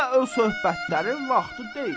Hələ öz söhbətlərin vaxtı deyil.